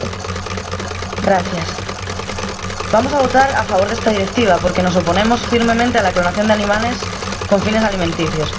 Señor Presidente, vamos a votar a favor de esta Directiva porque nos oponemos firmemente a la clonación de animales con fines alimenticios.